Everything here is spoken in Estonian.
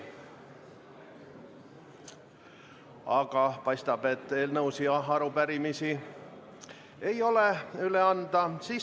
Aga paistab, et eelnõusid ja arupärimisi ei ole üle anda.